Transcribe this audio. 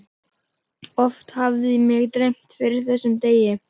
Oft hafði mig dreymt fyrir þessum degi.